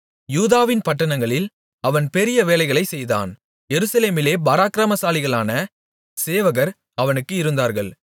யூதாவின் பட்டணங்களில் அவன் பெரிய வேலைகளைச் செய்தான் எருசலேமிலே பராக்கிரமசாலிகளான சேவகர் அவனுக்கு இருந்தார்கள்